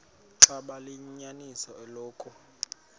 xaba liyinyaniso eloku